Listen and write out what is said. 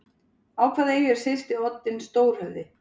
Á hvaða eyju er syðsti oddinn stór-höfði?